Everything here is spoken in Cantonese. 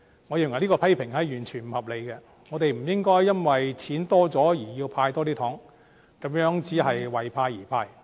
我認為這種批評完全不合理，我們不應該因為盈餘增加而增加"派糖"，這樣只是為派而派。